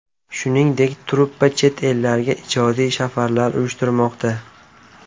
Shuningdek, truppa chet ellarga ijodiy safarlar uyushtirmoqda.